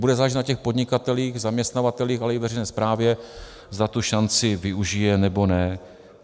Bude záležet na těch podnikatelích, zaměstnavatelích, ale i veřejné správě, zda tu šanci využijí, nebo ne.